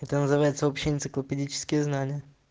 это называется общие энциклопедические знания